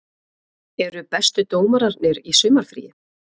Eru bestu dómararnir í sumarfríi?